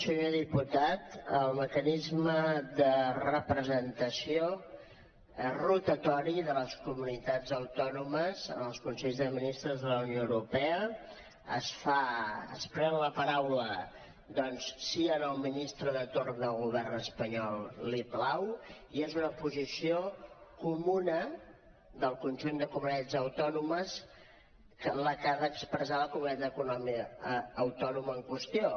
senyor diputat en el mecanisme de representació rotatori de les comunitats autònomes en els consells de ministres de la unió europea es pren la paraula si al ministre de torn del govern espanyol li plau i és una posició comuna del conjunt de comunitats autònomes la que ha d’expressar la comunitat autònoma en qüestió